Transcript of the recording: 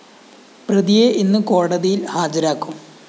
പ്രതിയെ ഇന്ന് കോടതിയില്‍ ഹാജരാക്കും